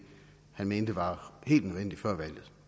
han mente var helt nødvendigt før valget